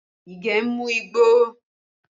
Ige ń mú igbó